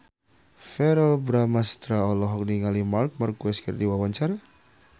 Verrell Bramastra olohok ningali Marc Marquez keur diwawancara